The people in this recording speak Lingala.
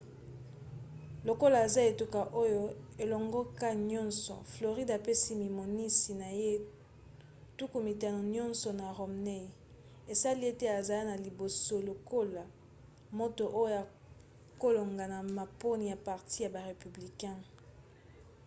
lokola aza etuka oyo elongoka nyonso floride apesi mimonisi na ye tuku mitano nyonso na romney esali ete azala na liboso lokola moto oyo akolonga na maponi ya parti ya ba républicain